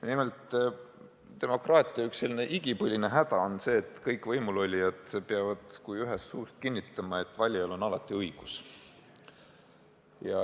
Nimelt, üks demokraatia igipõline häda on see, et kõik võimulolijad peavad kui ühest suust kinnitama, et valijal on alati õigus.